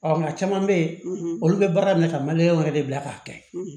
Ɔ nka caman bɛ yen olu bɛ baara minɛ ka wɛrɛ de bila k'a kɛ